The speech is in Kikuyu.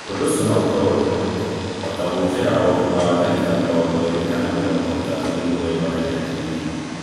Ũndũ ũcio no ũkorũo ũrĩ mũritũ o ta gũũkĩra o thutha wa ndagĩka mĩrongo ĩĩrĩ [20] kana mĩrongo ĩtatu [30] nĩguo wĩrorere TV.